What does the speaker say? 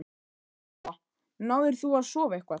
Lóa: Náðir þú að sofa eitthvað?